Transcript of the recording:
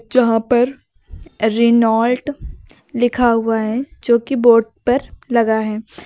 यहां पर रेनॉल्ट लिखा हुआ है जो कि बोर्ड पर लगा है।